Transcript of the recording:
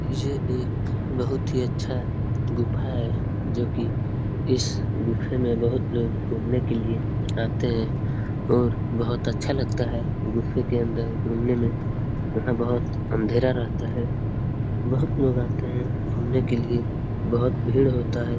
ये एक बहुत ही अच्छा गुफा है जो कि इस गुफे में बहुत लोग घुमने के लिए आते है और बहुत अच्छा लगता है गुफे के अंदर घुमने में वहाँ बहुत अंधेरा रहता है बहुत लोग आते है घुमने के लिए बहुत भीड़ होता है ।